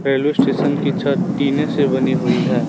Railway station की छत टीने से बनी हुई है।